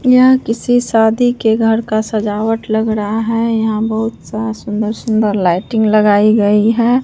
यह किसी शादी के घर का सजावट लग रहा है यहां बहुत सा सुंदर सुंदर लाइटिंग लगाई गई है।